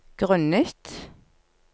grunnet